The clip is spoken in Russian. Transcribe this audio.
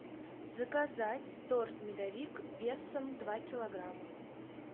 заказать торт медовик весом два килограмма